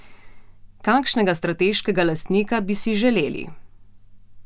Kakšnega strateškega lastnika bi si želeli?